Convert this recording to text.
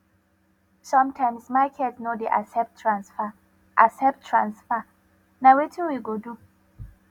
sometimes market no dey accept transfer accept transfer na wetin we go do